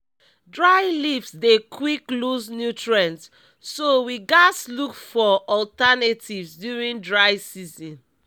dry leave dey quick lose nutrients so we gaz look for alternatives during dry season